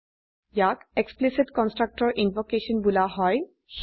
ইয়াক explicit constructor invocation বোলা হয়